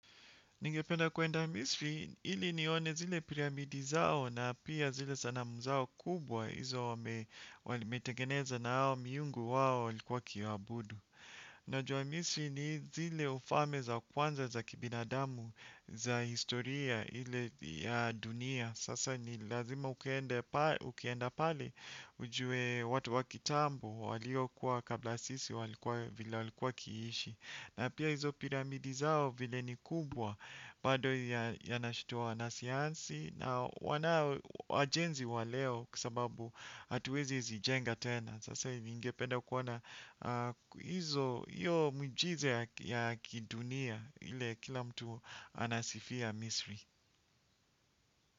Ningependa kuenda misri ili nione zile piramidi zao na pia zile sanamu zao kubwa hizo wame metegeneza na hao miungu wao walikuwa wakiwaabudu. Najua misri ni zile ufalme za kwanza za kibinadamu za historia ile ya dunia. Sasa ni lazima ukienda pale ujue watu wa kitambo waliokuwa kabla sisi walikuwa vile walikuwa wakiishi. Na pia hizo piramidi zao vile ni kubwa bado yanashtua wanasayansi na wanao wajenzi wa leo kwa sababu hatuwezi zijenga tena. Sasa ningependa kuona hizo, iyo miujiza ya kidunia ile kila mtu anasifia misri.